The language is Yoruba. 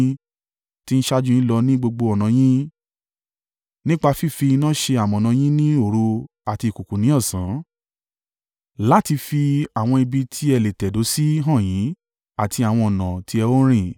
tí ń ṣáájú u yín lọ ní gbogbo ọ̀nà yín, nípa fífi iná ṣe amọ̀nà yín ní òru àti ìkùùkuu ní ọ̀sán, láti fi àwọn ibi tí ẹ lè tẹ̀dó sí hàn yín àti àwọn ọ̀nà tí ẹ ó rìn.